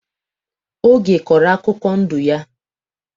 Oge kọrọ akụkọ ndụ ya.